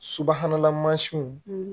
Subahanala mansinw